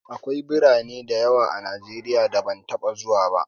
Akwai birane da yawa a Najeriya da ban taɓa zuwa ba.